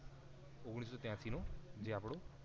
ઓગણીસો ત્યાંશી નો જે આપડો